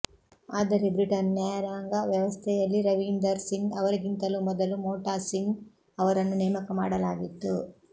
ಆದರೆ ಬ್ರಿಟನ್ ನ್ಯಾಂುುಾಂಗ ವ್ಯವಸ್ಥೆಂುುಲ್ಲಿ ರವೀಂದರ್ ಸಿಂಗ್ ಅವರಿಗಿಂತಲೂ ಮೊದಲು ವೋಟಾ ಸಿಂಗ್ ಅವರನ್ನು ನೇಮಕ ಮಾಡಲಾಗಿತ್ತು